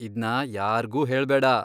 ಇದ್ನ ಯಾರ್ಗೂ ಹೇಳ್ಬೇಡಾ...